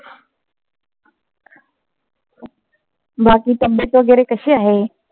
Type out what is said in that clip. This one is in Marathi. बाकी तब्बेत वगैरे कशी आहे?